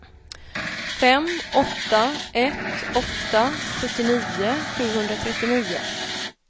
fem åtta ett åtta sjuttionio sjuhundratrettionio